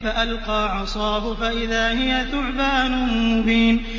فَأَلْقَىٰ عَصَاهُ فَإِذَا هِيَ ثُعْبَانٌ مُّبِينٌ